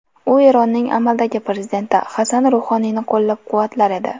U Eronning amaldagi prezidenti Hasan Ruhoniyni qo‘llab-quvvatlar edi.